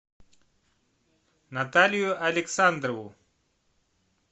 наталию александрову